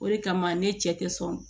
O de kama ne cɛ te sɔn